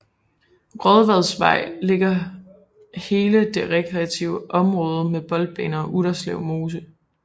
Rådvadsvej ligger hele det rekreative område med boldbaner og Utterslev Mose